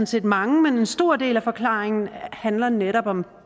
set mange men en stor del af forklaringen handler netop om